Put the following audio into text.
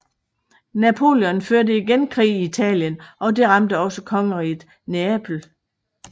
Napoleon førte igen krig i Italien og det ramte også kongeriget Neapel